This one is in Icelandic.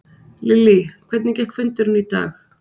Lillý, hvernig gekk fundurinn í dag?